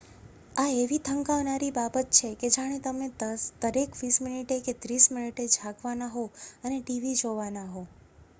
આ એવી થકાવનારી બાબત છે કે જાણે તમે દરેક વીસ મીનીટે કે ત્રીસ મીનીટે જાગવાના હો અને tv જોવાના હો